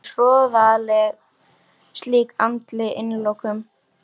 Hún er hroðaleg slík andleg innilokun.